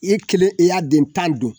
I kelen i y'a den tan dun!